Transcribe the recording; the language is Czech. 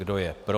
Kdo je pro?